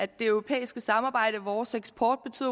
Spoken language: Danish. det europæiske samarbejde og vores eksport